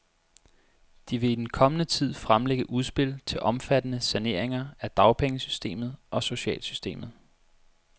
De vil i den kommende tid fremlægge udspil til omfattende saneringer af dagpengesystemet og socialsystemet.